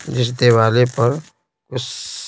जिस दिवाले पर उस--